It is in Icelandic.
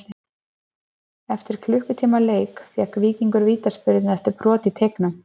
Eftir klukkutíma leik fékk Víkingur vítaspyrnu eftir brot í teignum.